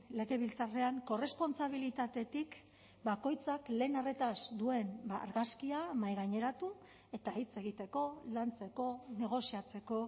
legebiltzarrean korrespontsabilitatetik bakoitzak lehen arretaz duen argazkia mahaigaineratu eta hitz egiteko lantzeko negoziatzeko